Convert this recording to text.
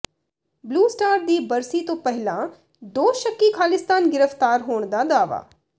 blue Star ਦੀ ਬਰਸੀ ਤੋਂ ਪਹਿਲਾਂ ਦੋ ਸ਼ੱਕੀ ਖ਼ਾਲਿਸਤਾਨੀ ਗ੍ਰਿਫ਼ਤਾਰ ਹੋਣ ਦਾ ਦਾਅਵਾ